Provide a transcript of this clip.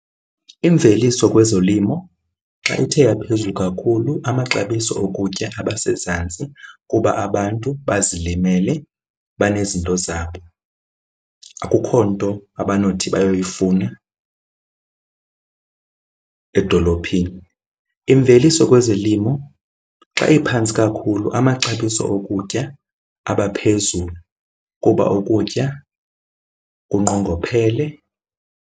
Imveliso kwezolimo xa ithe yaphezulu kakhulu amaxabiso okutya abasezantsi kuba abantu bazilimele, banezinto zabo. Akukho nto abanothi bayoyifuna edolophini. Imveliso kwezolimo xa iphantsi kakhulu amaxabiso okutya abaphezulu kuba ukutya kunqongophele.